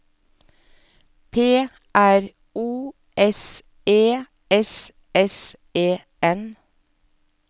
P R O S E S S E N